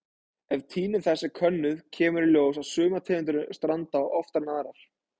Ef tíðni þess er könnuð kemur í ljós að sumar tegundir stranda oftar en aðrar.